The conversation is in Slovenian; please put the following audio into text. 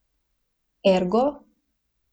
Ergo?